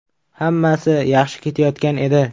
Hammasi yaxshi ketayotgan edi.